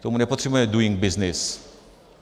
K tomu nepotřebujeme Doing Business.